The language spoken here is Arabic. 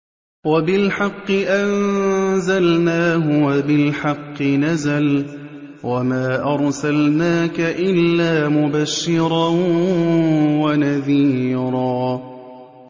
وَبِالْحَقِّ أَنزَلْنَاهُ وَبِالْحَقِّ نَزَلَ ۗ وَمَا أَرْسَلْنَاكَ إِلَّا مُبَشِّرًا وَنَذِيرًا